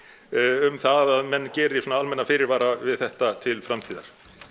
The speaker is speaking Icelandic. um það að menn geri svona almenna fyrirvara við þetta til framtíðar